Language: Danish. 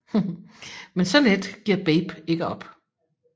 Men så let giver Babe ikke op